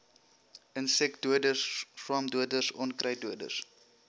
insekdoders swamdoders onkruiddoders